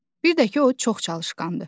Bir də ki, o çox çalışqandır.